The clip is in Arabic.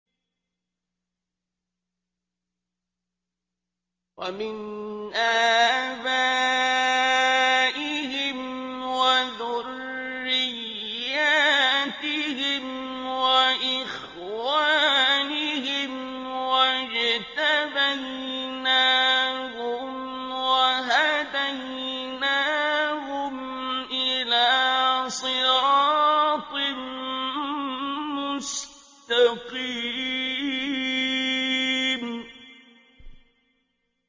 وَمِنْ آبَائِهِمْ وَذُرِّيَّاتِهِمْ وَإِخْوَانِهِمْ ۖ وَاجْتَبَيْنَاهُمْ وَهَدَيْنَاهُمْ إِلَىٰ صِرَاطٍ مُّسْتَقِيمٍ